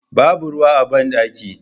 Babu ruwa a bandaki.